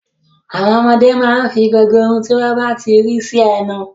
Àwọn ọmọdé máa ń fi gbogbo ohun tí wọ́n bá rí sẹ́nu.